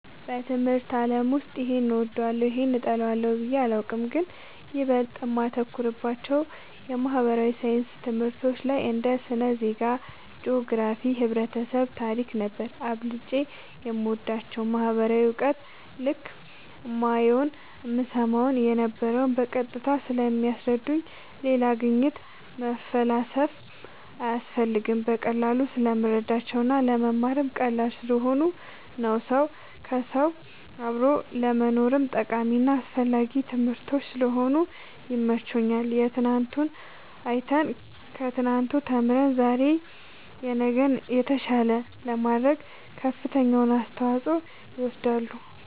በትምህርት አለም ውስጥ ይሄን እወዳለሁ ይህን እጠላለሁ ብየ አላቅም ግን ይበልጥ እማተኩርባቸው የማህበራዊ ሣይንስ ትምህርቶች ላይ እንደ ስነ ዜጋ ,ጅኦግራፊክስ ,ህብረተሰብ ,ታሪክ ነበር አብልጨም የምወዳቸው ማህበራዊ እውቀት ልክ እማየውን እምሰማውን የነበረው በቀጥታ ስለሚያስረዱኝ ሌላ ግኝት መፈላሰፍ ሳያስፈልግ በቀላሉ ስለምረዳቸው እና ለመማርም ቀላል ስለሆኑ ነው ሰው ከውሰው አብሮ ለመኖርም ጠቃሚና አስፈላጊ ትምህርቶች ስለሆኑ ይመቸኛል የትናንቱን አይተን ከትናንቱ ተምረን ዛሬ ነገን የተሻለ ለማድረግ ከፍተኛውን አስተዋፅኦ ይወስዳሉ